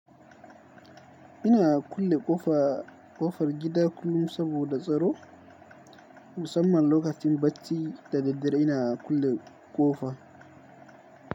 Ina kulle ƙofar gida kullum saboda tsaro. Musamman lokacin bacci da daddare ina kulle ƙofa.